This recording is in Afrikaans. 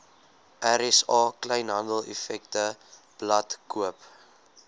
rsa kleinhandeleffektewebblad koop